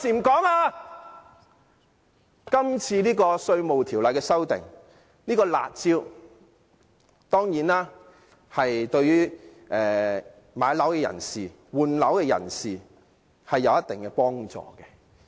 今次《條例草案》的修訂涉及的"辣招"對買樓和換樓的人當然有一定幫助。